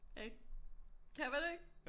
Ikke kan man ikke